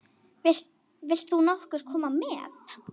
Vilt þú nokkuð koma með?